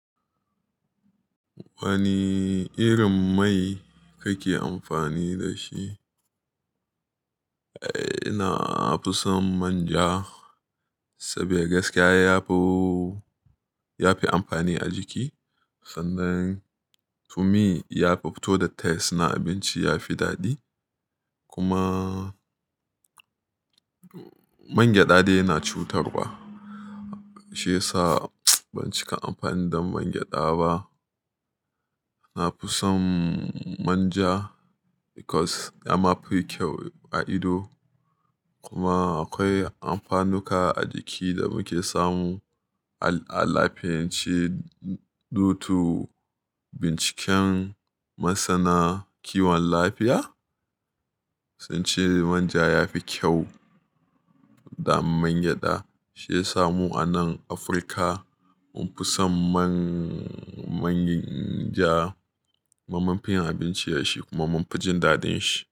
Wani irin mai kake amfani da shi? Eh, ina fi son manja saboda gaskiya yafi, yafi amfani a jiki. Sannan to me yafi fito da taste na abinci yafi daɗi. Kuma mangyaɗa dai yana cutarwa shiyasa ban cika amfani da mangyaɗa ba. Nafi son manja because ya ma fi kyau a ido. Kuma akwai amfanuka a jiki da muke samu a lafiyance, due to binciken masana kiwon lafiya. Sun ce manja yafi kyau da mangyaɗa shiyasa mu a nan Afirka mun fi son manja kuma mun fi yin abinci da shi kuma mun fi jin daɗin shi.